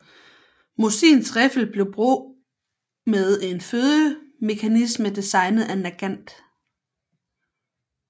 Mosins riffel blev brug med en fødemekanisme designet af Nagant